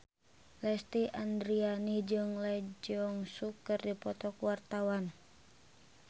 Lesti Andryani jeung Lee Jeong Suk keur dipoto ku wartawan